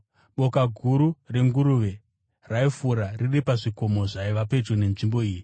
Boka guru renguruve raifura riri pazvikomo zvaiva pedyo nenzvimbo iyi.